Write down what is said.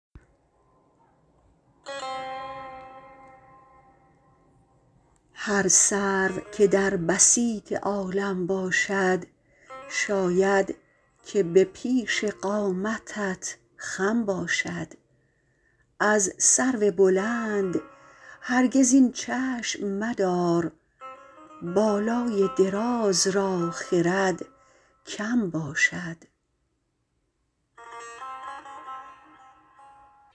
هر سرو که در بسیط عالم باشد شاید که به پیش قامتت خم باشد از سرو بلند هرگز این چشم مدار بالای دراز را خرد کم باشد